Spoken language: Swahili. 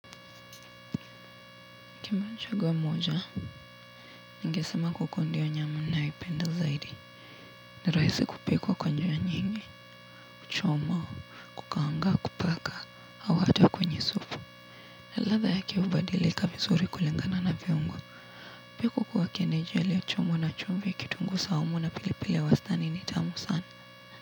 Kama ningechagua moja ningesema kuku ndio nyama ninayopenda zaidi ni rahisi kupikwa kwa njia nyingi kuchoma kukaanga kupaka au hata kwenye supu na ladha yake hubadilika vizuri kulingana na viungo pia kuku wa kienyeji aliyechomwa na chumvi kitunguu saumu na pilipili ya wastani ni tamu sana.